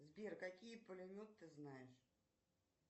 сбер какие пулемет ты знаешь